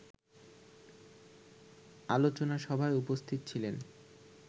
আলোচনা সভায় উপস্থিত ছিলেন